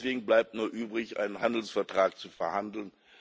Und deswegen bleibt nur übrig, einen Handelsvertrag zu verhandeln.